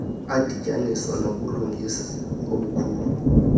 adityaniswa nobulungisa obukhulu